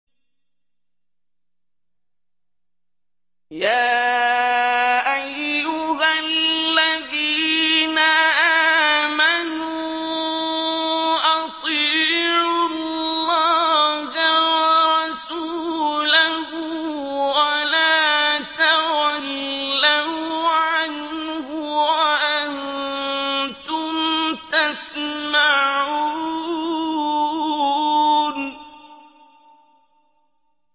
يَا أَيُّهَا الَّذِينَ آمَنُوا أَطِيعُوا اللَّهَ وَرَسُولَهُ وَلَا تَوَلَّوْا عَنْهُ وَأَنتُمْ تَسْمَعُونَ